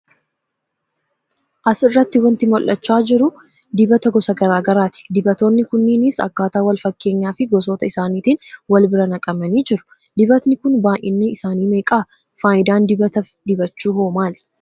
As irratti wanti mul'achaa jiru dibata gosa garaagaraa ti. Dibatoonni kunniinis akkataa wal fakkeenyaa fi gosoota isaaniitiin wal bira naqamanii jiru. Dibatni kun baa'yinni isaanii meeqa? Faaidaan dibata dibachuu hoo maali?